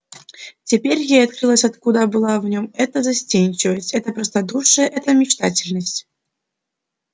теперь ей открылось откуда была в нем эта застенчивость это простодушие эта мечтательность